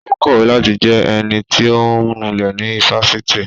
Ó kọ̀wé láti jẹ ẹnití ọ̀ ń nulẹ̀ ní ifásitì